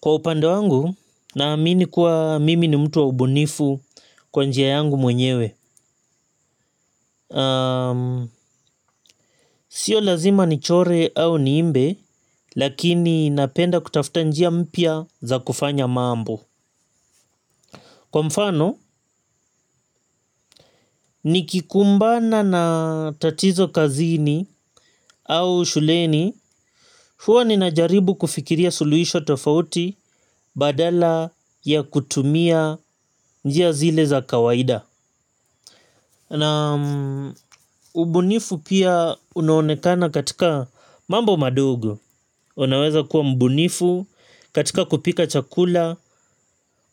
Kwa upande wangu na amini kuwa mimi ni mtu wa ubunifu kwa njia yangu mwenyewe sio lazima ni chore au ni imbe lakini napenda kutafuta njia mpya za kufanya mambo kwa mfano nikikumbana na tatizo kazini au shuleni huwa ninajaribu kufikiria suluhisho tofauti badala ya kutumia njia zile za kawaida naam ubunifu pia unaonekana katika mambo madogo. Unaweza kuwa mbunifu katika kupika chakula,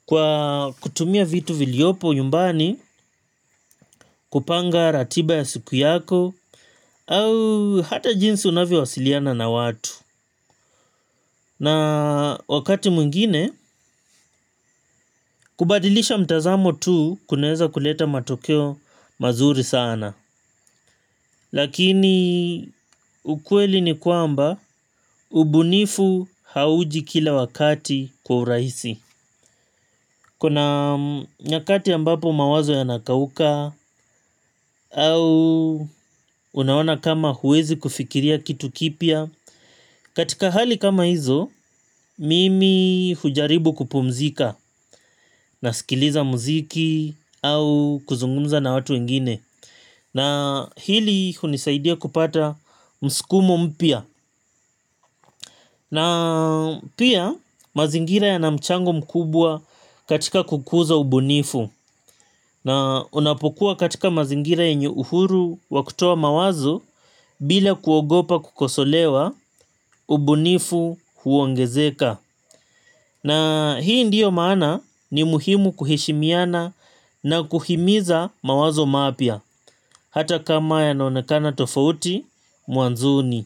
kwa kutumia vitu viliyopo nyumbani, kupanga ratiba ya siku yako, au hata jinsi unavyowasiliana na watu. Na wakati mwingine, kubadilisha mtazamo tu kunaeza kuleta matokeo mazuri sana. Lakini ukweli ni kwamba, ubunifu hauji kila wakati kwa urahisi. Kuna nyakati ambapo mawazo yanakauka au unaona kama huwezi kufikiria kitu kipya katika hali kama hizo mimi hujaribu kupumzika na sikiliza muziki au kuzungumza na watu wengine na hili hunisaidia kupata msukumo mpya na pia mazingira yana mchango mkubwa katika kukuza ubunifu na unapokuwa katika mazingira yenye uhuru wa kutoa mawazo bila kuogopa kukosolewa ubunifu huongezeka na hii ndiyo maana ni muhimu kuheshimiana na kuhimiza mawazo mapya hata kama yanaonekana tofauti mwanzoni.